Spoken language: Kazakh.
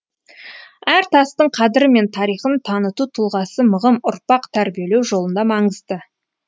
әр тастың қадірі мен тарихын таныту тұлғасы мығым ұрпақ тәрбиелеу жолында маңызды